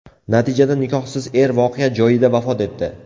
Natijada nikohsiz er voqea joyida vafot etdi.